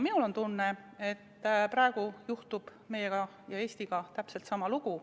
Minul on tunne, et praegu juhtub meiega ja Eestiga täpselt sama lugu.